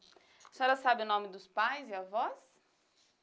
A senhora sabe o nome dos pais e avós?